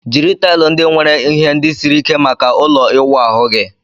Jiri taịl ndị nwere ihe ndị siri ike maka ụlọ ịwụ ahu gị